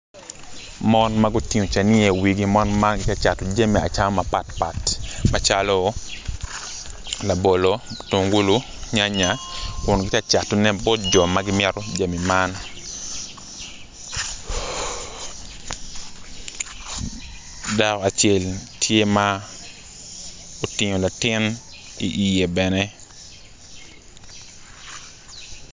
Mon ma gutino caniya i wigi mon man gitye ka cato jami acama mapatpat macalo labolo mutungulu nyanya kun giti ka catone bot jo ma gimito jamo man dako acel tye ma otingo latin i iye bene